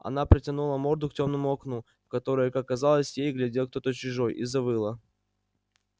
она протянула морду к тёмному окну в которое как казалось ей глядел кто-то чужой и завыла